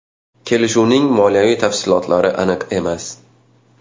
Kelishuvning moliyaviy tafsilotlari aniq emas.